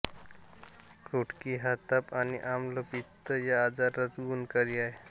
कुटकी हा ताप आणि आम्ल पित्त या आजारात गुणकारी आहे